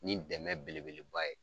Ni dɛmɛ belebeleba ye.